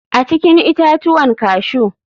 A cikin itatuwan cashew.